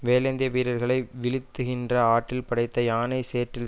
வேலேந்திய வீரர்களை வீழ்த்துகின்ற ஆற்றல் படைத்த யானை சேற்றில்